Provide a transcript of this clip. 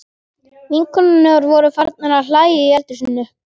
Vinkonurnar voru farnar að hlæja í eldhúsinu.